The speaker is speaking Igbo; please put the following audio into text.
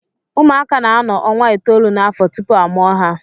Ụmụaka na-anọ ọnwa itoolu n'afọ tupu a mụọ ha